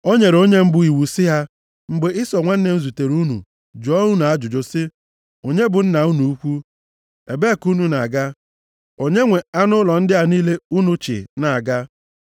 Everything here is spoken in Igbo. O nyere onye mbụ iwu sị ha, “Mgbe Ịsọ nwanne m zutere unu jụọ unu ajụjụ sị, ‘Onye bụ nna unu ukwu? Ebee ka unu na-aga? Onye nwe anụ ụlọ ndị a niile unu chị na-aga?’